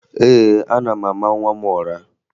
Ee, ana m ama nwa m ụra